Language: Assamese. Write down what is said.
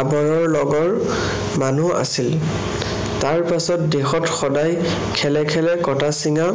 আবৰৰ লগৰ মানুহ আছিল। তাৰ পাছত দেশত সদায় খেলে খেলে কটা-ছিঙা